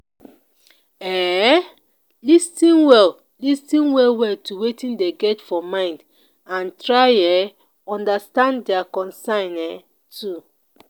um lis ten well lis ten well well to wetin dem get for mind and try um understand their concerns um too